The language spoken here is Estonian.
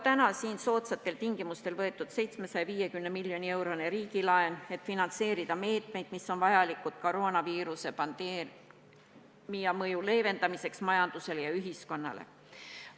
Soodsatel tingimustel on võetud 750 miljoni eurone riigilaen, et finantseerida meetmeid, mis on vajalikud, et leevendada koroonaviiruse pandeemia mõju majandusele ja ühiskonnale.